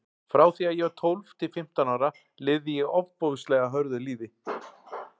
Frá því að ég var tólf til fimmtán ára lifði ég ofboðslega hörðu lífi.